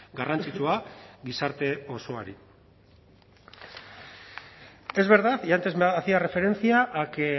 garrantzitsua gizarte osoari es verdad y antes hacía referencia a que